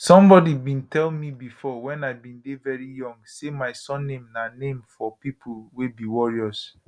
sombodi bin tell me bifor wen i bin dey veri young say my surname na name for pipo wey be warriors